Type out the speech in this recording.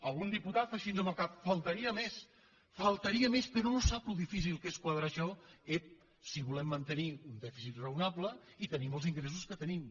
algun diputat fa així amb el cap només faltaria només faltaria però no sap que difícil que és quadrar això ep si volem mantenir un dèficit raonable i tenim els ingressos que tenim